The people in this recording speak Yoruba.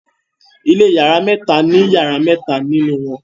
ilé iyàrá mẹta ní iyàrá mẹta nínú won